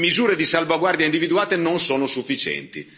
Le misure di salvaguardia individuate non sono sufficienti.